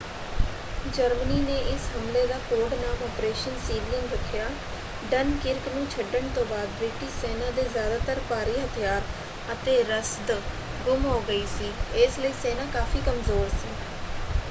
Germany ਨੇ ਇਸ ਹਮਲੇ ਦਾ ਕੋਡ-ਨਾਮ ਆਪ੍ਰੇਸ਼ਨ ਸੀਲੀਅਨ ਰੱਖਿਆ। ਡਨਕਿਰਕ ਨੂੰ ਛੱਡਣ ਤੋਂ ਬਾਅਦ ਬ੍ਰਿਟਿਸ਼ ਸੈਨਾ ਦੇ ਜਿਆਦਾਤਰ ਭਾਰੀ ਹਥਿਆਰ ਅਤੇ ਰਸਦ ਗੁੰਮ ਹੋ ਗਈ ਸੀ ਇਸ ਲਈ ਸੈਨਾ ਕਾਫ਼ੀ ਕਮਜ਼ੋਰ ਸੀ।